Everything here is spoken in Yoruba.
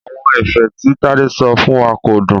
Àwọn ẹ̀fẹ̀ tí Tádé sọ fún wa kò dùn.